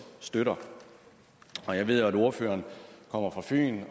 støtter jeg ved at ordføreren kommer fra fyn